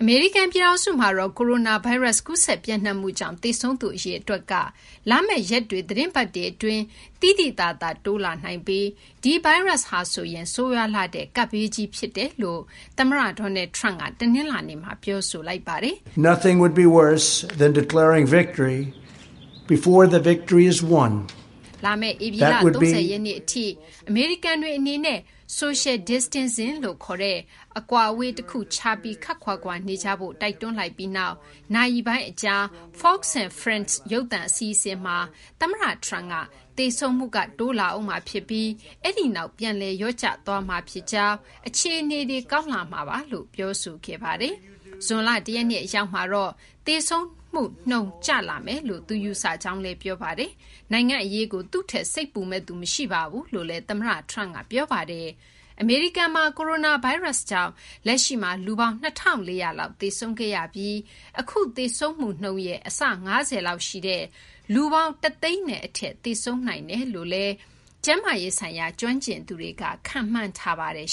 မေရိကန် ပြည်ထောင်စုမှာ ကိုရိုနာဗိုင်းရပ်စ် ကူးစက် ပျံ့နှံ့မှုကြောင့် သေဆုံးသူ အရေအတွက်က လာမယ့် ရက်တွေ သီတင်းပတ်တွေ အတွင်း သိသိသာ တိုးလာနိုင်ပြီး ဒီဗိုင်းရပ်စ်ဟာဆိုရင် ဆိုးရွားလှတဲ့ ကပ်ဘေးကြီး အဖြစ် သမ္မတ Donald Trump က တနလာၤနေ့မှာ ပြောဆိုလိုက်ပါတယ်။ လာမယ့် ဧပြီလ ၃၀ ရက်နေ့ အထိ အမေရိကန်တွေ အနေနဲ့ Social Distancing - အကွာအဝေး တခုခြားပြီး ခပ်ခွာခွာ နေကြဖို့ တိုက်တွန်းလိုက်ပြီးနောက် နာရီပိုင်းအကြာ Fox &Friends ရုပ်သံအစီအစဉ်မှာ သမ္မတ Trump က သေဆုံးမှုက တိုးလာဦးမှာ ဖြစ်ပြီး အဲဒီနောက် ပြန်လည် လျော့ကျလာပြီး အခြေအနေ ကောင်းလာမှာပါလို့ ပြောဆိုခဲ့ပါတယ်။ ဇွန်လ ၁ ရက်နေ့ အရောက်မှာတော့ သေဆုံးမှုနှုန်း ကျလာမယ်လို့ ယူဆကြောင်း ပြောဆိုခဲ့ပါတယ်။ နိုင်ငံ့ အရေးကို သူ့ထက် စိတ်ပူမယ့်သူ မရှိဘူးလို့လည်း သမ္မတ Trump က ပြောပါတယ်။ အမေရိကန်မှာ ကိုရိုနာဗိုင်းရပ်စ်ကြောင့် လက်ရှိမှာ လူပေါင်း ၂,၄၀၀ လောက် သေဆုံးခဲ့ရပြီး၊ အခု သေဆုံးမှုနှုန်းနဲ့ အဆ ၅၀ လောက် ရှိတဲ့ လူပေါင်း ၁၀၀,၀၀၀ နဲ့ အထက် သေဆုံးနိုင်တယ်လို့လည်း ကျန်းမာရေးဆိုင်ရာ ကျွမ်းကျင်သူတွေက ခန့်မှန်းထားပါတယ်